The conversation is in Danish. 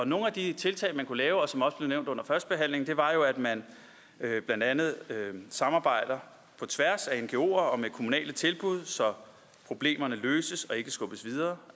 nogle af de tiltag man kunne lave og som også blev nævnt under førstebehandlingen er jo blandt andet samarbejde på tværs af ngoer og med kommunale tilbud så problemerne løses og ikke skubbes videre